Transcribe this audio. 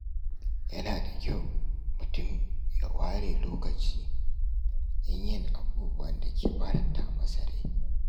Yana da kyau mutum ya ware lokaci don yin abubuwan da ke faranta masa rai.